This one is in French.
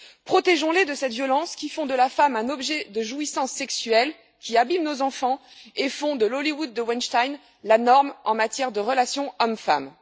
Protégeons les de cette violence qui fait de la femme un objet de jouissance sexuelle, qui abîme nos enfants et qui fait du Hollywood de Weinstein la norme en matière de relations hommes femmes.